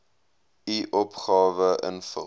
u opgawe invul